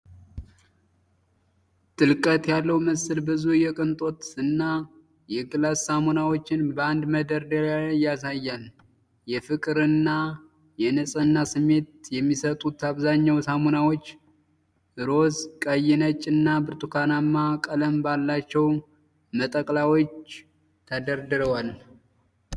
ጥልቀት ያለው ምስል ብዙ የቅንጦት እና የላክስ ሳሙናዎችን በአንድ መደርደሪያ ላይ ያሳያል። የፍቅር እና የንጽህና ስሜት የሚሰጡት አብዛኛው ሳሙናዎች ሮዝ፣ ቀይ፣ ነጭ እና ብርቱካንማ ቀለም ባላቸው መጠቅለያዎች ተደርድረዋል።